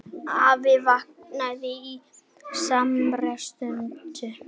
Afi vaknaði á samri stundu.